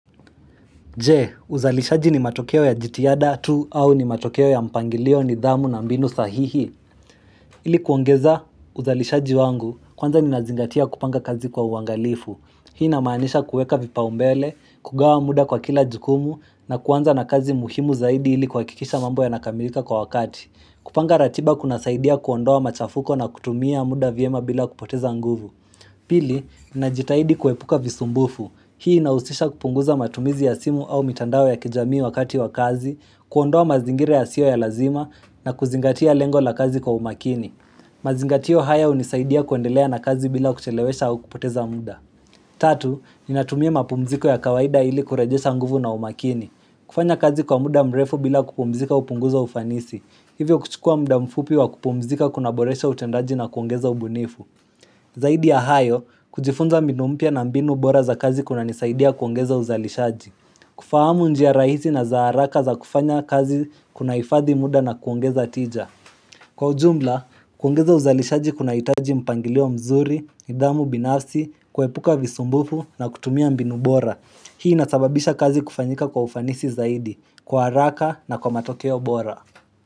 Je, uzalishaji ni matokeo ya jitihada tu au ni matokeo ya mpangilio nidhamu na mbinu sahihi. Ili kuongeza uzalishaji wangu, kwanza nina zingatia kupanga kazi kwa uangalifu. Hii na maanisha kueka vipau umbele, kugawa muda kwa kila jukumu na kwanza na kazi muhimu zaidi ili kuhakikisha mambo yana kamilika kwa wakati. Kupanga ratiba kuna saidia kuondoa machafuko na kutumia muda vyema bila kupoteza nguvu. Pili, ninajitahidi kuepuka visumbufu. Hii inausisha kupunguza matumizi ya simu au mitandao ya kijamii wakati wa kazi, kuondoa mazingira yasiyo ya lazima na kuzingatia lengo la kazi kwa umakini. Mazingatio haya unisaidia kuendelea na kazi bila kuchelewesha au kupoteza muda. Tatu, ninatumia mapumziko ya kawaida ili kurajesha nguvu na umakini. Kufanya kazi kwa muda mrefu bila kupumzika upunguza ufanisi. Hivyo kuchukua muda mfupi wa kupumzika kunaboresha utendaji na kuongeza ubunifu. Zaidi ya hayo, kujifunza mbinu mpya na mbinu bora za kazi kuna nisaidia kuongeza uzalishaji kufahamu njia rahizi na za haraka za kufanya kazi kunaifadhi muda na kuongeza tija Kwa ujumla, kuongeza uzalishaji kuna hitaji mpangilio mzuri, nidhamu binafsi, kuhepuka visumbufu na kutumia mbinu bora Hii ina sababisha kazi kufanyika kwa ufanisi zaidi, kwa haraka na kwa matokeo bora.